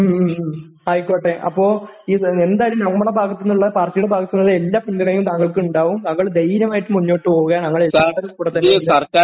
മ്, മ്, മ്...ആയിക്കോട്ടെ.അപ്പൊ എന്തായാലും പാർട്ടിയുടെ ഭാഗത്തുനിന്നുള്ള എല്ലാ പിന്തുണയും താങ്കൾക്കുണ്ടാകും, താങ്കൾ ധൈര്യമായിട്ട് മുന്നോട്ടു പോവുക...നമ്മളെല്ലാവരും കൂടെത്തന്നെയുണ്ടാകും...